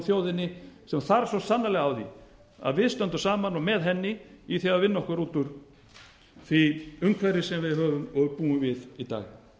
þjóðinni sem þarf svo sannarlega á því að halda að við stöndum saman og með henni í því að vinna okkur út úr því umhverfi sem við höfum og búum við í dag